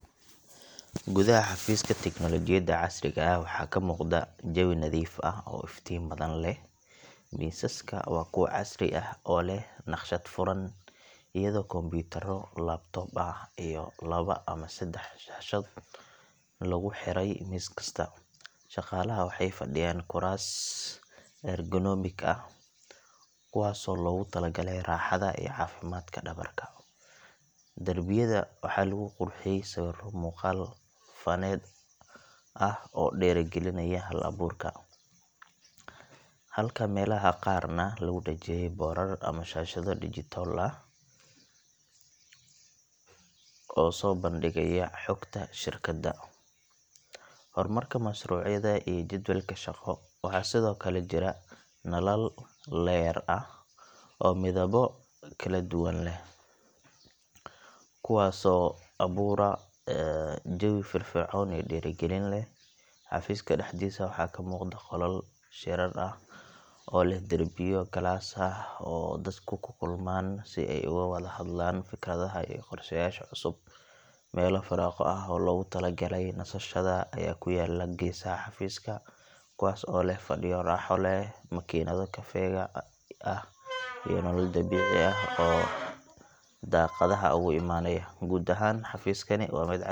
Gudaha xafiiska tignoolajiyada casriga ah waxaa ka muuqda jawi nadiif ah oo iftiin badan leh. Miisaska waa kuwa casri ah oo leh naqshad furan, iyadoo kombiyuutarro laptop ah iyo laba ama saddex shaashadood lagu xidhay miis kasta. Shaqaalaha waxay fadhiyaan kuraas ergonomik ah, kuwaasoo loogu talagalay raaxada iyo caafimaadka dhabarka. Darbiyada waxaa lagu qurxiyey sawirro muuqaal-faneed ah oo dhiirrigelinaya hal-abuurka, halka meelaha qaarna lagu dhejiyay boorar ama shaashado digital ah oo soo bandhigaya xogta shirkadda, horumarka mashruucyada, iyo jadwalka shaqo. Waxaa sidoo kale jira nalal LED ah oo midabo kala duwan leh, kuwaasoo abuura jawi firfircoon iyo dhiirrigelin leh. Xafiiska dhexdiisa waxaa ka muuqda qolal shirar ah oo leh derbiyo galaas ah, oo dadku ku kulmaan si ay uga wadahadlaan fikradaha iyo qorsheyaasha cusub. Meelo firaaqo ah oo loogu talagalay nasashada ayaa ku yaalla geesaha xafiiska, kuwaas oo leh fadhiyo raaxo leh, makiinado kafeega ah, iyo nalal dabiici ah oo daaqadaha uga imanaya. Guud ahaan, xafiiskani waa mid casri.